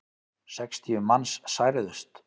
Sextíu manns særðust.